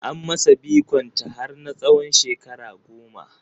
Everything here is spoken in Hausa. An masa bikon ta har na tsawon shekara goma